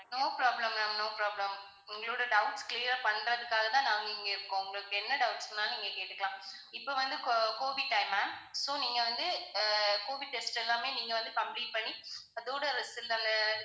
no problem ma'am no problem உங்களோட doubts clear பண்றதுக்காகத்தான் நாங்க இங்க இருக்கோம். உங்களுக்கு என்ன doubts னாலும் நீங்க கேட்டுக்கலாம். இப்ப வந்து co~ covid time ma'am so நீங்க வந்து அஹ் covid tests எல்லாமே நீங்க வந்து complete பண்ணி அதோட results